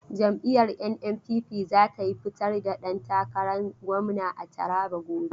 Jam'iyyar NNPP za ta fitar da dantakaran gwamna a Taraba gobe.